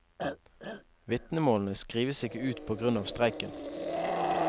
Vitnemålene skrives ikke ut på grunn av streiken.